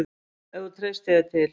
Ef þú treystir þér til.